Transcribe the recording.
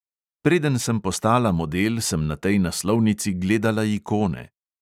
Preden sem postala model, sem na tej naslovnici gledala ikone.